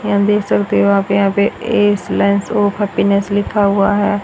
यहां देख सकते हो आप यहां पे हैप्पीनेस लिखा हुआ है।